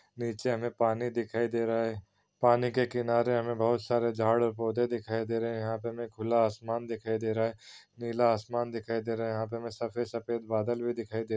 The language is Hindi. नीचे हमे पानी दिखाई दे रहा हैं पानी के किनारे हमे बहुत सारे झाड़ और पौधे दिखाई दे रहे हैं यहाँ पे हमे खुला आसमान दिखाई दे रहा हैंनीला आसमान दिखाई दे रहा हैं यहाँ पे हमे सफेद सफेद बादल भी दिखाई दे रहा हैं।